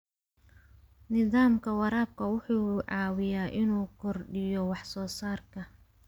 Nidaamka waraabka wuxuu caawiyaa inuu kordhiyo wax soo saarka.